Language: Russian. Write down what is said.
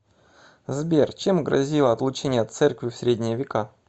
сбер чем грозило отлучение от церкви в средние века